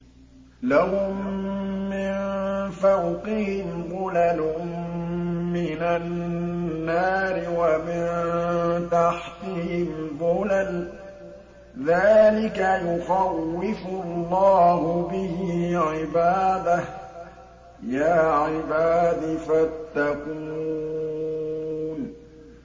لَهُم مِّن فَوْقِهِمْ ظُلَلٌ مِّنَ النَّارِ وَمِن تَحْتِهِمْ ظُلَلٌ ۚ ذَٰلِكَ يُخَوِّفُ اللَّهُ بِهِ عِبَادَهُ ۚ يَا عِبَادِ فَاتَّقُونِ